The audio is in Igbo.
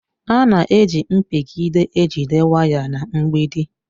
A na-eji mpigide e jide waya na mgbidi.